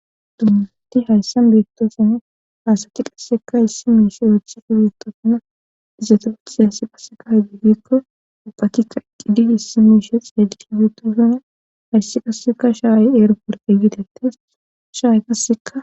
dummati hayssan beettosona haa asati qasseka issi miishe ooththeki beettosana izetot siyaassi passeka hedigikko uppakikka iqqiddi issi miishe ediutosuna hayssi qasseka shaaye eeroporte gidettes shaa'e qasseka